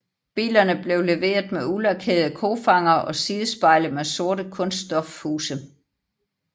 Bilerne blev leveret med ulakerede kofangere og sidespejle med sorte kunststofhuse